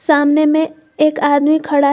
सामने में एक आदमी खड़ा है।